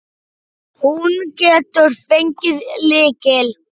Hún getur fengið lykil.